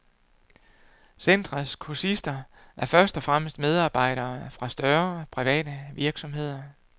Centrets kursister er først og fremmest medarbejdere fra større, private virksomheder.